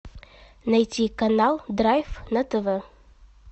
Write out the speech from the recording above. найти канал драйв на тв